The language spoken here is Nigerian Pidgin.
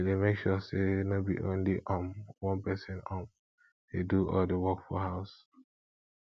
we dey make sure say no be only um one pesin um dey do all the work for house